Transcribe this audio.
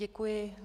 Děkuji.